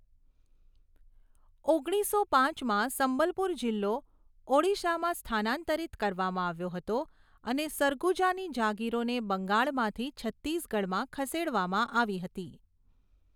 ઓગણીસો પાંચમાં, સંબલપુર જિલ્લો ઓડિશામાં સ્થાનાંતરિત કરવામાં આવ્યો હતો અને સરગુજાની જાગીરોને બંગાળમાંથી છત્તીસગઢમાં ખસેડવામાં આવી હતી.